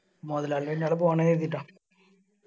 മൊതലാളി പോണേ കരുതീട്ടാ